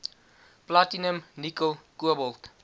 platinum nikkel kobalt